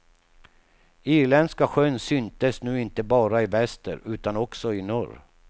Irländska sjön syntes nu inte bara i väster utan också i norr.